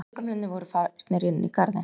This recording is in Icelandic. Lögreglumennirnir voru farnir inn í garðinn.